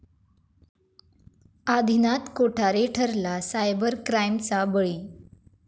आदिनाथ कोठारे ठरला सायबर क्राईमचा बळी